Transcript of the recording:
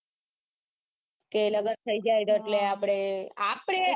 કે લગન થઇ જાય તો એટલે આપડે આપડે